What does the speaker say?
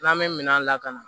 N'an bɛ minɛn lakana